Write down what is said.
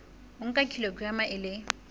o nka kilograma e le